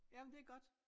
Jamen det godt